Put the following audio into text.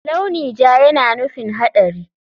Launi ja yana nufin haɗari.